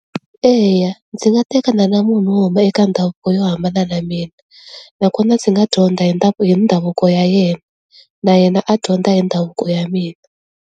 Eya ndzi nga tekana na munhu wo huma eka ndhavuko yo hambana na ya mina nakona ndzi nga dyondza hi hi ndhavuko ya yena na yena a dyondza hi ndhavuko ya mina.